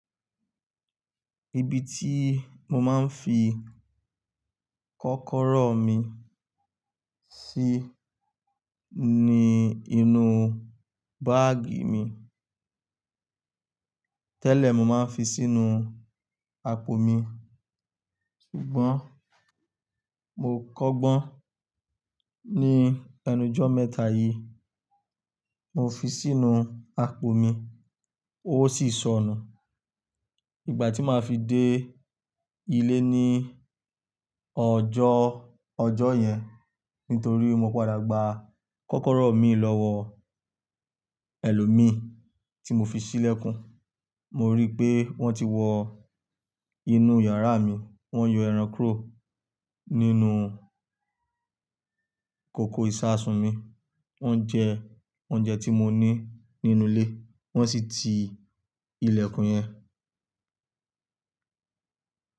Ibi tí mo máa ń fi kọ́kọ́rọ́ mi sí ni inú báàgì mi. Tẹ́lẹ̀ mo máa ń fi sínú apò mi, ṣùgbọ́n mo kọ́gbọ́n ní ẹnu ojọ́ mẹ́ta yìí. Mo fi sínú apò mi, ó sì sọnù. Ìgbà tí maa fi dé ilé ní ọjọ́, ọjọ́ yẹn nítorí mo padà gba kọ́kọ́rọ́ mii lọ́wọ́ ẹlòmíì tí mo fi sí ilẹ̀kùn, mo rí pé wọ́n ti wọ inú yàrá mi, wọ́n yọ ẹran kuro nínú kòkò ìṣasùn mi, wọ́n jẹ oúnjẹ tí mo ní nínú ilé, wọ́n sì ti ilẹ̀kùn yẹn.